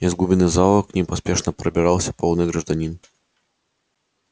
из глубины зала к ним поспешно пробирался полный гражданин